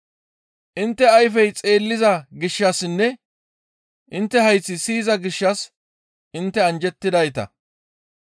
«Intte ayfey xeelliza gishshassinne intte hayththati siyiza gishshas intte anjjettidayta.